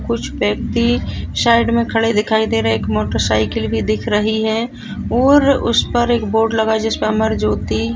कुछ व्यक्ति साइड मे खड़े दिखाई दे रहे एक मोटर साइकिल भी दिख रही है और उस पर एक बोर्ड लगा जिसमे अमर ज्योति--